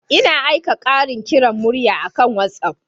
Ina aika yin ƙarin kiran murya akan WhatsApp.